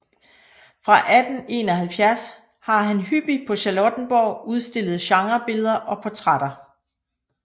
Fra 1871 har han hyppig på Charlottenborg udstillet genrebilleder og portrætter